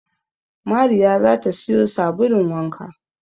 Mariya za ta siyo sabulun wanka